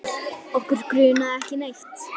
Okkur grunaði ekki neitt.